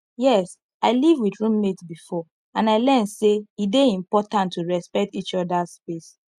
yes i live with roommate before and i learn say e dey important to respect each others space